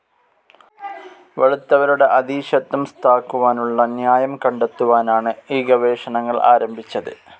വെളുത്തവരുടെ അധീശത്വം സ്ഥാക്കുവാനുള്ള ന്യായം കണ്ടെത്തുവാനാണ് ഈ ഗവേഷണങ്ങൾ ആരംഭിച്ചത്.